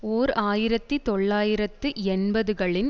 ஓர் ஆயிரத்தி தொள்ளாயிரத்து எண்பது களின்